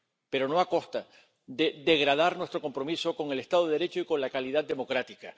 Pero no a costa de degradar nuestro compromiso con el Estado de Derecho y con la calidad democrática.